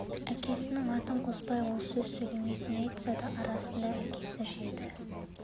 әкесінің атын қоспай ол сөз сөйлемес не айтса да арасында әкесі жеді